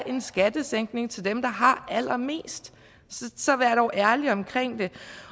en skattesænkning til dem der har allermest så vær dog ærlig omkring det